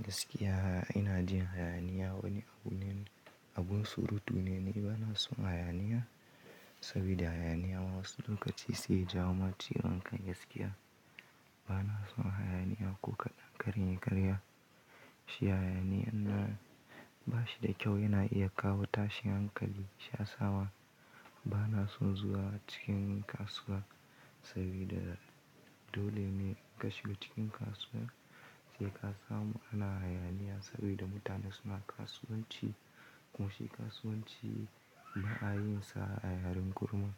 Gaskiya, ina jin hayaniya. Wani abun surutu ne. Bana son hayaniya saboda hayaniya wasu lokaci sai jawoma ciwan kai gaskiya. Bana son hayaniya ko kaɗan. Kare ni karya, shi hayaniya in na ba shi da kyau yana iya kawo tashin hankali. Sha sawa bana son zuwa cikin kasuwa saboda dole ne in kashe cikin kasuwa sai ka samu ana hayaniya saboda mutane suna kasuwanci. Kuma shi kasuwanci ana yin sa yayin kurum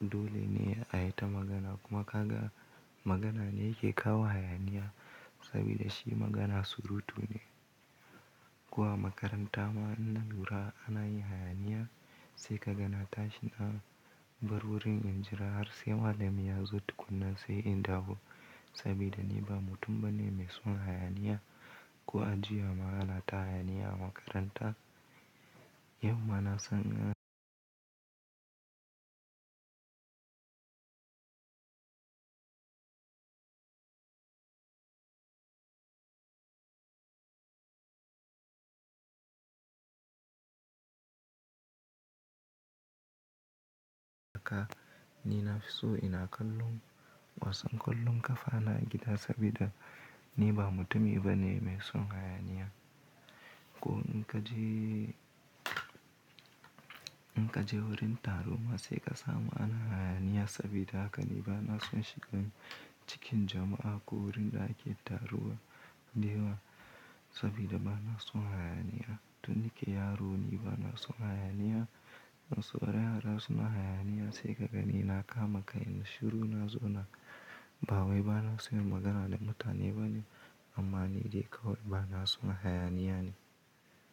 dole ne a yi ta magana kuma kaga magana ne yake kawo hayaniya saboda shi magana surutu ne. Zuwa makaranta ma in na lura ana yin hayaniya sai kaga na tashi na bar wurin in jira har sai malam ya zo tukunna sai in dawo saboda ni ba mutum bane mai son hayaniya. Ko a juya ma ana ta hayaniya a makaranta. Yau ma na san ɗa ka ni na fi so ina kallon wasan kullum ka fara gida saboda ni ba mutumi bane mai son hayaniya. Ko in ka je wurin taro ma sai ka samu ana hayaniya saboda haka ni bana son cikin jama'a ko wurin da ake taruwa da yawa saboda bana son hayaniya. To nike yaro ni bana son hayaniya. Wasu yara suna hayaniya sai kaga ni na kama kai na shiru na zo na bawoi. Bana son magana da mutane bane amma ni dai kawai bana son hayaniya ne.